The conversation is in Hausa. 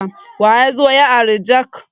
Waya zo ya ari jak?